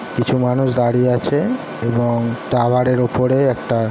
কিছু মানুষ দাঁড়িয়ে আছে এবং টাওয়ার -এর ওপরে একটা।